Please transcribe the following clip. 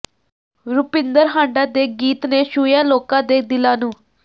ਰੁਪਿੰਦਰ ਹਾਂਡਾ ਦੇ ਗੀਤ ਨੇ ਛੂਹਿਆ ਲੋਕਾਂ ਦੇ ਦਿਲਾਂ ਨੂੰ